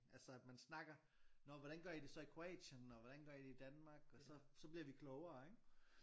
Altså at man snakker nå hvordan gør i det så i Kroatien og hvordan gør i det i Danmark og så så bliver vi klogere ikke?